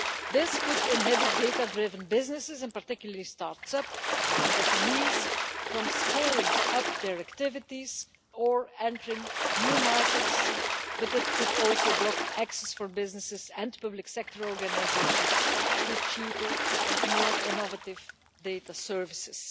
This could inhibit data-driven businesses, particularly start-ups and SMEs, from scaling up their activities or entering new markets, but it could also block access for businesses and public sector organisations to cheaper and more innovative data services.